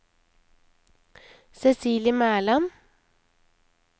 Cecilie Mæland